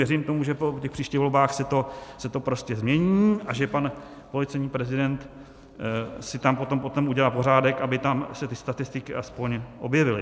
Věřím tomu, že po těch příštích volbách se to prostě změní a že pan policejní prezident si tam potom udělá pořádek, aby se tam ty statistiky aspoň objevily.